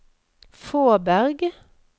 Fåberg